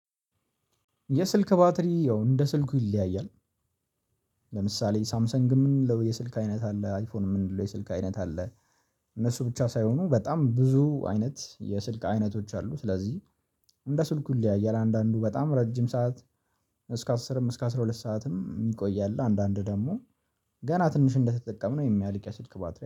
የስልክ ባትሪ ያው እንደ ስልኩ ይለያያል። ለምሳሌ ሳምሰንግ የምንለው የስልክ አይነት አለ አይፎን የምንለው የስልክ አይነት አለ። እነሱ ብቻ ሳይሆኑ በጣም ብዙ አይነት የስልክ አይነቶች አሉ። ስለዚህ እንደ ስልኩ ሊያየው አንዳንዱ በጣም ረጅም ሰዓት እስከ አስርም እስከ አስራ ሁለት ሰዓትም የሚቆይ አለ። አንዳንድ ደግሞ ገና ትንሽ እንደተጠቀምን የሚያልቅ የስልክ ባትሪ